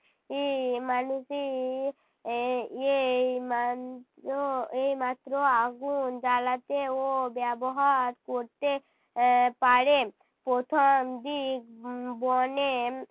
ই মানুষই আহ এই মান্ত্র এই মাত্র আগুন জ্বালাতে ও ব্যবহার করতে এর পারে। প্রথম দিক উম বনে